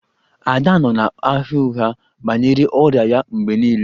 Ada nọ na-agha ụgha banyere ọrịa ya mgbe niile